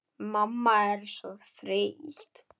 Mamma er svo þreytt.